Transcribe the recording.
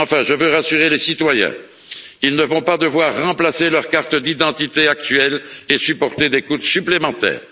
Enfin, je veux rassurer les citoyens ils ne vont pas devoir remplacer immédiatement leur carte d'identité actuelle, ni supporter des coûts supplémentaires.